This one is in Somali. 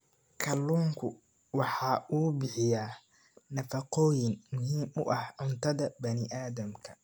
Kalluunku waxa uu bixiyaa nafaqooyin muhiim u ah cuntada bani aadamka.